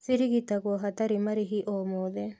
Cirigitagwo hatarĩ marĩhi o mothe